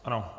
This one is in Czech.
Ano.